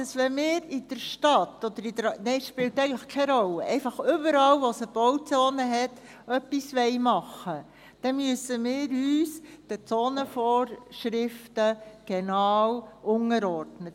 Wenn wir in der Stadt oder – nein, es spielt eigentlich keine Rolle – einfach überall, wo es eine Bauzone hat, etwas machen wollen, dann müssen wir uns den Zonenvorschriften genau unterordnen.